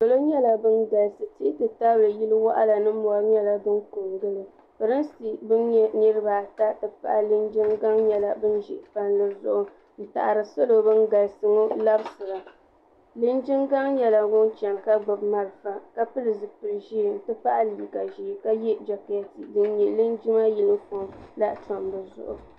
Solo nyala ban galisi tihi ti tabili yili waɣla ni mori nya la din ko n gili pirinsi ban nyɛ niriba ata n ti pahi lijin gaŋ nyala ban za palli zuɣu n taɣri solo ban galisi ŋɔ n labisiri nyaaŋa ligin gaŋ nyala ŋun gbibi malifa ka pili zupil ʒɛɛ n ti pahi liiga ʒɛɛ ka yɛ jakɛɛti din nyɛ lingima yunifom la tab di zuɣu